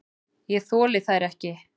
Ég þoli þær ekki.